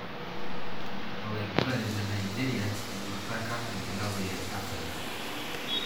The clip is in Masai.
Olaigurani le Nigeria eduraka enkilabu e Arsenal.